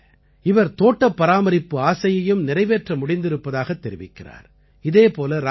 இதுமட்டுமல்ல அவர் தோட்டப் பராமரிப்பு ஆசையையும் நிறைவேற்ற முடிந்திருப்பதாகத் தெரிவிக்கிறார்